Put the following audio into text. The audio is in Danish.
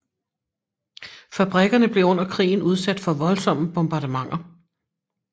Fabrikkerne blev under krigen udsat for voldsomme bombardementer